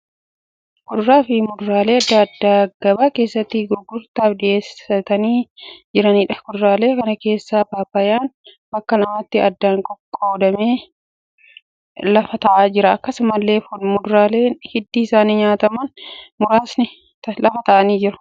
Kuduraalee fi muduraalee adda addaa gabaa keessatti gurgurtaaf dhiyaatanii jiraniidha. Kuduraalee kana keessaa paappayyaan bakka lamatti addaan baqaqee lafa ta'aa jira. Akkasumallee muduraaleen hiddi isaanii nyaatamu muraasni lafa ta'aa jiru.